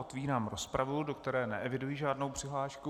Otvírám rozpravu, do které neeviduji žádnou přihlášku.